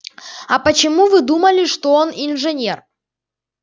а почему вы думали что он инженер